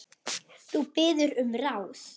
Þú biður um ráð.